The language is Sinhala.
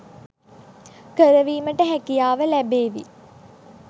කර වීමට හැකියාව ලැ‍බේවි.